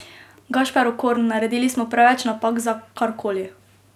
Gašper Okorn: "Naredili smo preveč napak za karkoli.